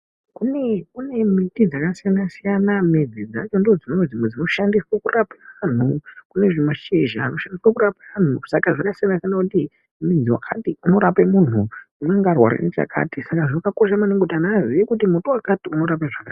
Kune kune miti dzakasiyana siyana midzi dzacho ndoodzimwe dzinoshandiswa kurape anhu kune zvimashizha zviriko kurapa anhu saka zvakasiyana ngekuti mudzi wakati inorape munhu unenge arware nechakati saka zvakakosha maningi kuti muti wakati unorape zvakati .